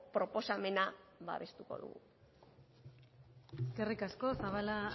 proposamena babestuko dugu eskerrik asko zabala